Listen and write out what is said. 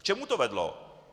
K čemu to vedlo?